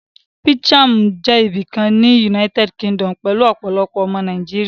Peckham jẹ́ ibìkan ní United Kingdom pẹ̀lú ọ̀pọ̀lọpọ̀ ọmọ Nàìjíríà